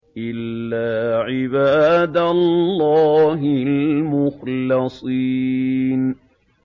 إِلَّا عِبَادَ اللَّهِ الْمُخْلَصِينَ